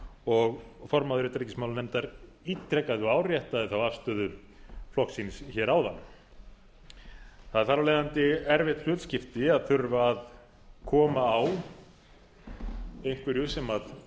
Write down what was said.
og formaður utanríkismálanefndar ítrekaði og áréttaði þá afstöðu flokks síns hér áðan það er þar af leiðandi erfitt hlutskipti að þurfa að koma á einhverju sem